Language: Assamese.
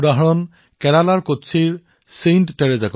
এনে এটা উদাহৰণ হল কেৰালাৰ কোচিৰ ছেণ্ট টেৰেছা মহাবিদ্যালয়